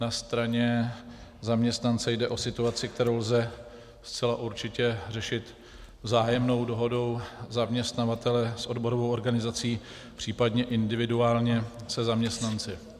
Na straně zaměstnance jde o situaci, kterou lze zcela určitě řešit vzájemnou dohodou zaměstnavatele s odborovou organizací, případně individuálně se zaměstnanci.